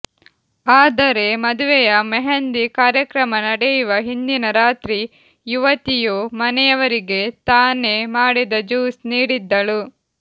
ಆದರೆ ಮದುವೆಯ ಮೆಹಂದಿ ಕಾರ್ಯಕ್ರಮ ನಡೆಯುವ ಹಿಂದಿನ ರಾತ್ರಿ ಯುವತಿಯು ಮನೆಯವರಿಗೆ ತಾನೇ ಮಾಡಿದ ಜ್ಯೂಸ್ ನೀಡಿದ್ದಳು